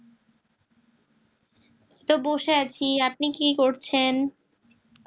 বসে আছি আপনি কি করছেন